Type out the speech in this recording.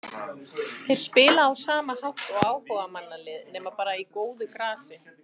Þeir spila á sama hátt og áhugamannalið nema bara á góðu grasi.